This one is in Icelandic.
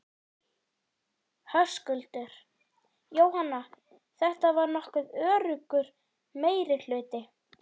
Höskuldur: Jóhanna, þetta var nokkuð öruggur meirihluti?